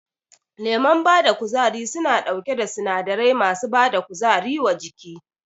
Lemon bada kuzari suna ɗauke da sinadarai masu bada kuzari wa jiki